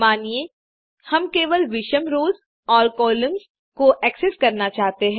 मानिए हम केवल विषम रोस और कॉलम्सपहली तीसरी पाँचवी को एक्सेस करना चाहते हैं